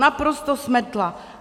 Naprosto smetla.